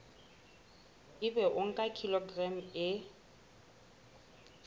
ebe o nka kilograma e